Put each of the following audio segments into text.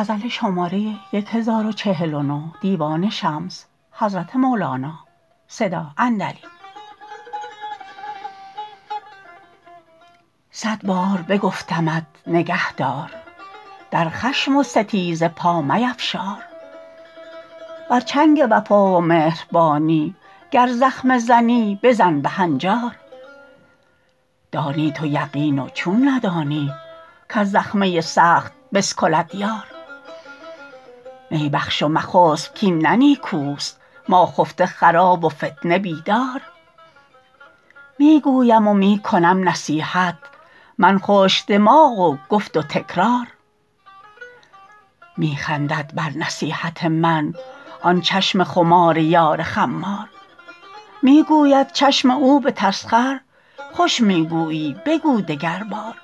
صد بار بگفتمت نگهدار در خشم و ستیزه پا میفشار بر چنگ وفا و مهربانی گر زخمه زنی بزن به هنجار دانی تو یقین و چون ندانی کز زخمه سخت بسکلد یار می بخش و مخسب کاین نه نیکوست ما خفته خراب و فتنه بیدار می گویم و می کنم نصیحت من خشک دماغ و گفت و تکرار می خندد بر نصیحت من آن چشم خمار یار خمار می گوید چشم او به تسخر خوش می گویی بگو دگربار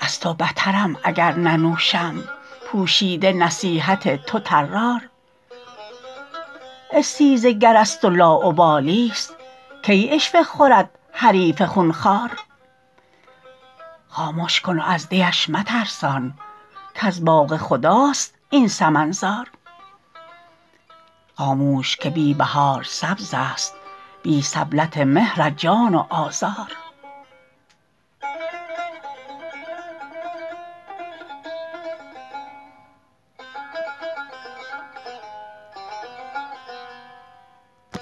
از تو بترم اگر ننوشم پوشیده نصیحت تو طرار استیزه گرست و لاابالیست کی عشوه خورد حریف خون خوار خامش کن و از دیش مترسان کز باغ خداست این سمن زار خاموش که بی بهار سبزست بی سبلت مهر جان و آذار